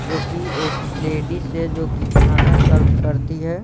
जो कि एक लेडिस से जो कि खाना सर्व करती है।